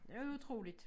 Det er utroligt